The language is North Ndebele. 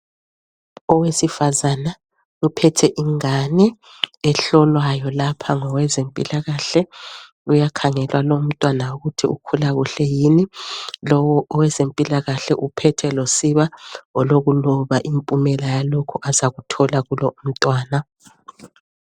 Owesifazana uphethe ingane ehlolwayo lapha ngowezephilakahle. Uyakhangelwa lumntwana ukuthi ukhula kuhle yini. Lowo owezempilakahle uphethe losiba olokuloba impumela yalokhu azakuthola kulo umntwana.